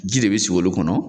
Ji de be sigi olu kɔnɔ